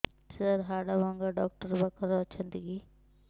ସାର ହାଡଭଙ୍ଗା ଡକ୍ଟର ପାଖରେ ଅଛନ୍ତି କି